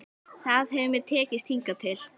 Það hefur mér tekist hingað til.